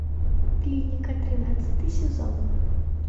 клиника тринадцатый сезон